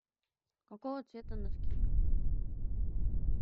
какого цвета носки